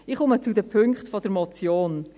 Ich komme zu den Punkten der Motion.